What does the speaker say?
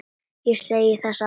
Ég segi það satt.